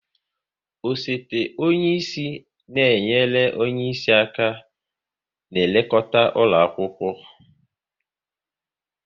Osote onye isi na enyere onye isi aka n'elekota ụlọ akwụkwọ